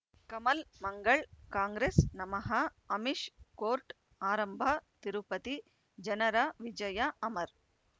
ಕಮಲ್ ಮಂಗಳ್ ಕಾಂಗ್ರೆಸ್ ನಮಃ ಅಮಿಷ್ ಕೋರ್ಟ್ ಆರಂಭ ತಿರುಪತಿ ಜನರ ವಿಜಯ ಅಮರ್